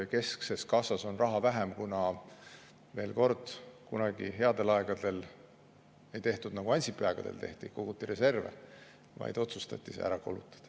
Keskses kassas on raha vähem, sest kunagi headel aegadel ei tehtud nii, nagu Ansipi aegadel tehti – koguti reserve –, vaid otsustati see ära kulutada.